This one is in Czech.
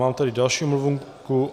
Mám tady další omluvenku.